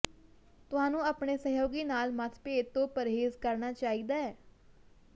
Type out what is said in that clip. ਤੁਹਾਨੂੰ ਆਪਣੇ ਸਹਿਯੋਗੀ ਨਾਲ ਮਤਭੇਦ ਤੋਂ ਪਰਹੇਜ਼ ਕਰਨਾ ਚਾਹੀਦਾ ਹੈ